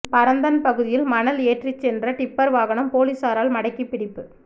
பரந்தன் பகுதியில் மணல் ஏற்றிச்சென்ற டிப்பர் வாகனம் பொலிஸாரால் மடக்கிப் பிடிப்பு